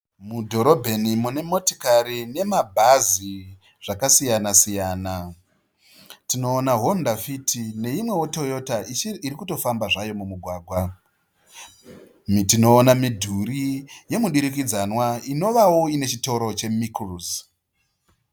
Mudhorobheni mune motokari ne mabhazi zvakasiyana siyana. Tinonona honda fiti ne imwewo Toyota irikutofamba zvayo mumugwagwa. Tionona midhuri yemudurikidzanwa inowawo ine chitoro cheMickles